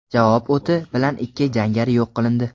Javob o‘ti bilan ikki jangari yo‘q qilindi.